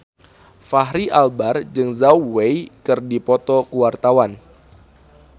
Fachri Albar jeung Zhao Wei keur dipoto ku wartawan